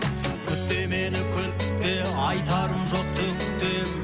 күтпе мені күтпе айтарым жоқ түк те